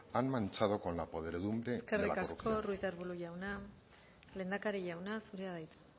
han manchado con la podredumbre y la corrupción eskerrik asko ruiz de arbulo jauna lehendakari jauna zurea da hitza